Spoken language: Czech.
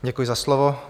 Děkuji za slovo.